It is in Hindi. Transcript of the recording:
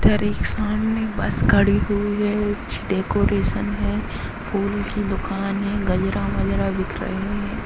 इधर एक सामने एक बस खड़ी हुई है डेकोरेशन है फूल की दुकान है गजरा वजरा बिक रहे हैं।